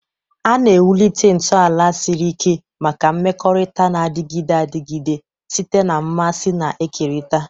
A na-ewulite ntọala siri ike maka mmekọrịta na-adịgide adịgide site na mmasị na-ekerịta.